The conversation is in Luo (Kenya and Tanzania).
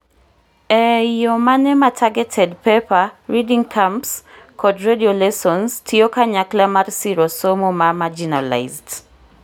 ee iyo mane ma targeted paper, reading camps, kod radio lessons tiyo kanyakla mar siro somo ma marginalised